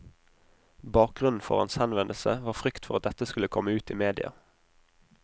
Bakgrunnen for hans henvendelse var frykt for at dette skulle komme ut i media.